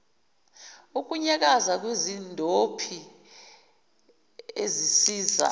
ukunyakaza kwezindophi ezisiza